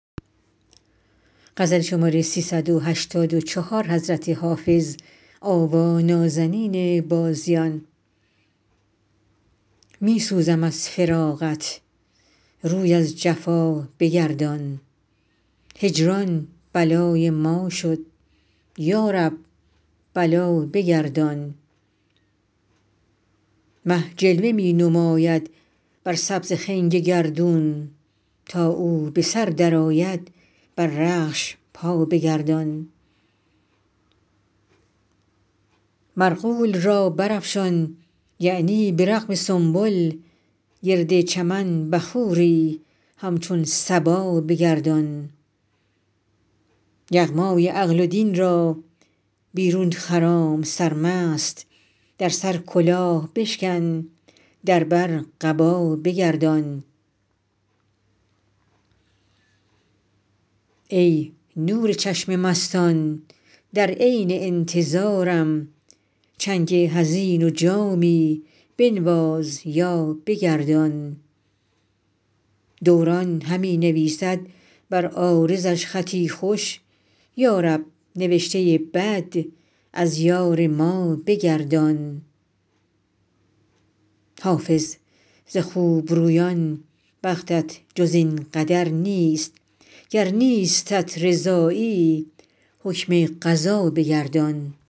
می سوزم از فراقت روی از جفا بگردان هجران بلای ما شد یا رب بلا بگردان مه جلوه می نماید بر سبز خنگ گردون تا او به سر درآید بر رخش پا بگردان مرغول را برافشان یعنی به رغم سنبل گرد چمن بخوری همچون صبا بگردان یغمای عقل و دین را بیرون خرام سرمست در سر کلاه بشکن در بر قبا بگردان ای نور چشم مستان در عین انتظارم چنگ حزین و جامی بنواز یا بگردان دوران همی نویسد بر عارضش خطی خوش یا رب نوشته بد از یار ما بگردان حافظ ز خوبرویان بختت جز این قدر نیست گر نیستت رضایی حکم قضا بگردان